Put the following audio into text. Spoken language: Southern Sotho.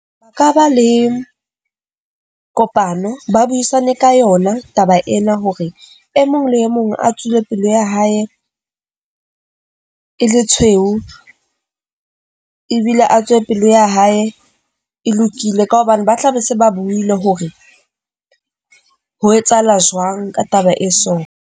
Ka ba le kopano, ba buisane ka yona taba ena hore e mong le e mong a tswele pelo ya hae e le tshweu, ebile a tswe pelo ya hae e lokile ka hobane ba tla be se ba buile hore ho etsahala jwang ka taba e so.